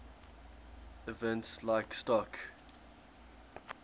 events like stock